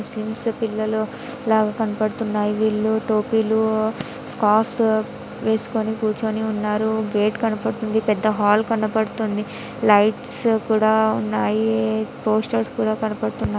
Muslims పిల్లలు లాగ కనబడుతున్నాయి వీళ్ళు టోపీలు సాక్స్ వేసుకొని కూర్చోని ఉన్నారు గేట్ కనపడుతుంది పెద్ద హాల్ కనపడుతుంది లైట్స్ కూడా ఉన్నాయి పోస్టర్స్ కూడా కనపడుతున్నాయి.